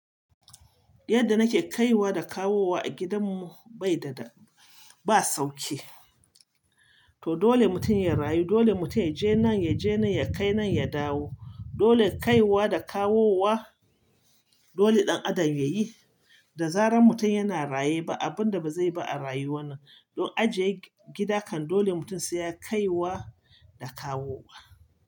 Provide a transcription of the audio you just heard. Yadda nake kaiwa da kawowa a gidanmu bai da da ba sauki. To dole mutum ya rayu, dole mutum ya je nan, ya je nan, ya kai nan, ya dawo. Dole kaiwa da kawowa dole ɗan adam ya yi. Da zarar mutum yana raye ba abun da ba zai ba a rayu wannan. Don ajiye gida kan dole mutum sai ya kaiwa da kawowa.